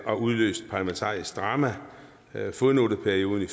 og udløst parlamentarisk drama det er fodnoteperioden i